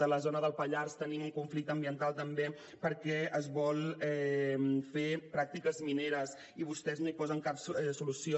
a la zona del pallars tenim un conflicte ambiental també perquè es volen fer pràctiques mineres i vostès no hi posen cap solució